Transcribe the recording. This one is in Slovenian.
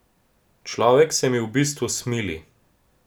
Človek se mi v bistvu smili.